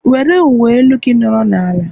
Were uwe elu gị nọrọ n'ala!